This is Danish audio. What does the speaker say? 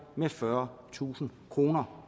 med fyrretusind kroner